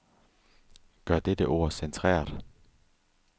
Gør dette ord centreret.